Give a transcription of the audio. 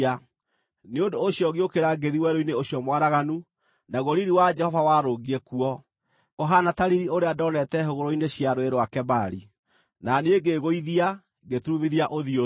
Nĩ ũndũ ũcio ngĩũkĩra ngĩthiĩ werũ-inĩ ũcio mwaraganu, naguo riiri wa Jehova warũngiĩ kuo, ũhaana ta riiri ũrĩa ndoonete hũgũrũrũ-inĩ cia Rũũĩ rwa Kebari, na niĩ ngĩĩgũithia, ngĩturumithia ũthiũ thĩ.